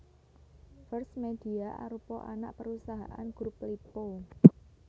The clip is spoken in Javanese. First Media arupa anak perusahaan Grup Lippo